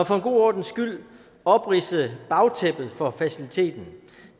for god ordens skyld opridse bagtæppet for faciliteten